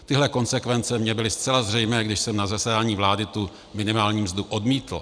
Tyhle konsekvence mi byly zcela zřejmé, když jsem na zasedání vlády tu minimální mzdu odmítl.